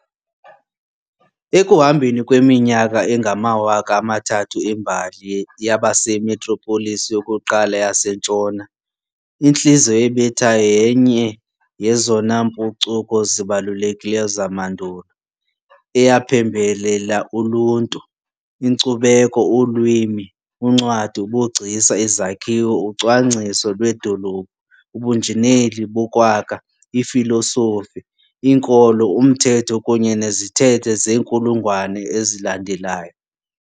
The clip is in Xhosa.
Ekuhambeni kweminyaka engamawaka amathathu embali, yaba simetropolis yokuqala yaseNtshona, intliziyo ebethayo yenye yezona mpucuko zibalulekileyo zamandulo, eyaphembelela uluntu, inkcubeko, ulwimi, uncwadi, ubugcisa, izakhiwo, ucwangciso lwedolophu, ubunjineli bokwakha, ifilosofi, inkolo, umthetho kunye nezithethe zeenkulungwane ezilandelayo.